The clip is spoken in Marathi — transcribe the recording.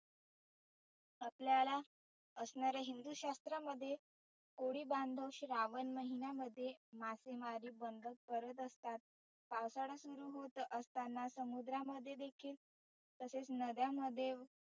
आपल्याला असणार्या हिंदु शास्त्रामध्ये होडी बांधुन श्रावण महिण्यामध्ये मासेमारी बंद करत असतात. पावसाळा सुरु होत असताना समुद्रामध्ये देखील तसेच नद्यामध्ये